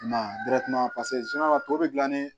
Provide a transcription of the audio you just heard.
I m'a ye paseke tɔ bɛ gilan ni